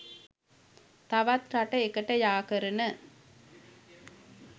තවත් රට එකට යා කරන